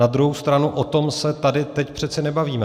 Na druhou stranu, o tom se tady teď přece nebavíme.